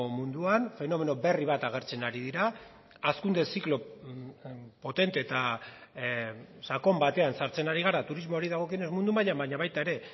munduan fenomeno berri bat agertzen ari dira hazkunde ziklo potente eta sakon batean sartzen ari gara turismoari dagokionez mundu mailan baina baita ere